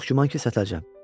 Çox güman ki, sətləcəyəm.